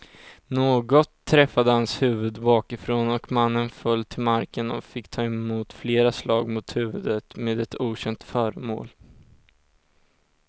Något träffade hans huvud bakifrån och mannen föll till marken och fick ta emot flera slag mot huvudet med ett okänt föremål.